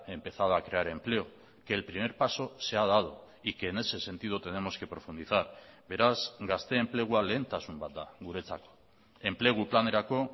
empezado a crear empleo que el primer paso se ha dado y que en ese sentido tenemos que profundizar beraz gazte enplegua lehentasun bat da guretzat enplegu planerako